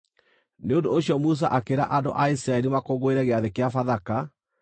Nĩ ũndũ ũcio Musa akĩĩra andũ a Isiraeli makũngũĩre Gĩathĩ-kĩa-Bathaka.